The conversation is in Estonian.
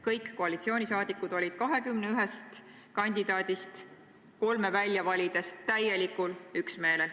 Kõik koalitsioonisaadikud olid 21 kandidaadist kolme välja valides täielikul üksmeelel.